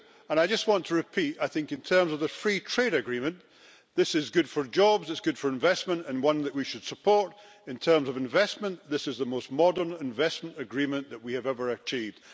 I just want to repeat that, in terms of the free trade agreement, this is good for jobs, it's good for investment and one that we should support in terms of investment. This is the most modern investment agreement that we have ever achieved.